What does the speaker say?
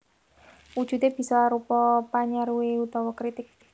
Wujudé bisa arupa panyaruwé utawa kritik